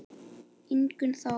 Ingunn Þóra.